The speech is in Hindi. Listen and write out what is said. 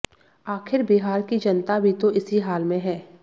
आखिर बिहार की जनता भी तो इसी हाल में है